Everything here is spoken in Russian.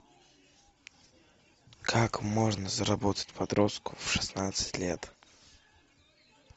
как можно заработать подростку в шестнадцать лет